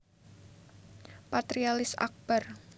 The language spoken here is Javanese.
Patrialis Akbar